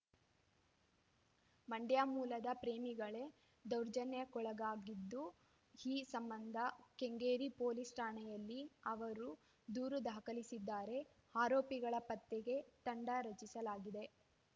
ಮಂಡ್ಯ ಮೂಲದ ಪ್ರೇಮಿಗಳೇ ದೌರ್ಜನ್ಯಕ್ಕೊಳಗಾಗಿದ್ದು ಈ ಸಂಬಂಧ ಕೆಂಗೇರಿ ಪೊಲೀಸ್‌ ಠಾಣೆಯಲ್ಲಿ ಅವರು ದೂರು ದಾಖಲಿಸಿದ್ದಾರೆ ಆರೋಪಿಗಳ ಪತ್ತೆಗೆ ತಂಡ ರಚಿಸಲಾಗಿದೆ